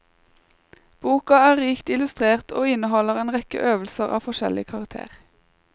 Boka er rikt illustrert og inneholder en rekke øvelser av forskjellig karakter.